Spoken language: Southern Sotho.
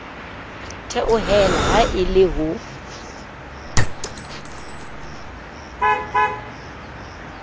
theohela ha e le ho